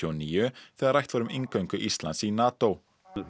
og níu þegar rætt var um inngöngu Íslands í NATO